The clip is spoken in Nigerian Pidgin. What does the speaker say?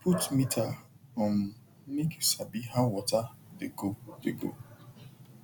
put meter um make you sabi how water dey go dey go